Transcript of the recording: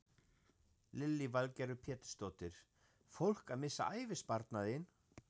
Lillý Valgerður Pétursdóttir: Fólk að missa ævisparnaðinn?